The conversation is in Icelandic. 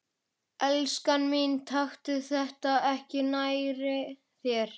Elskan mín, taktu þetta ekki nærri þér.